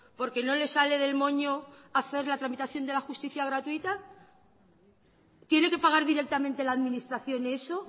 porque no les sale del moño hacer la tramitación de la justicia gratuita tiene que pagar directamente la administración eso